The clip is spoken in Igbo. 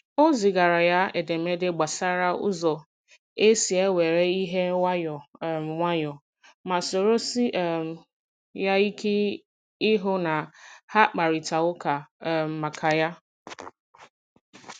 O zigara ya edemede gbasara ụzọ esi e were ihe nwayọọ um nwayọọ, ma soro sie um ya ike ịhụ na ha kparịta ụka um maka ya.